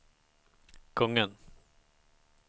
kungen